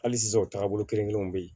Hali sisan o taagabolo kelen kelenw bɛ yen